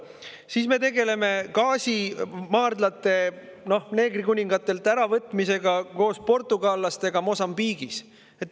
Siis me tegeleme gaasimaardlate neegrikuningatelt äravõtmisega koos portugallastega Mosambiigis.